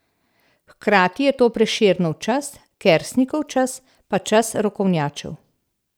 Hkrati je to Prešernov čas, Kersnikov čas, pa čas rokovnjačev.